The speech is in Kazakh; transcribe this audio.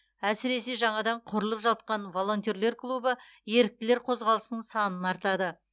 әсіресе жаңадан құрылып жатқан волонтерлер клубы еріктілер қозғалысының санын артады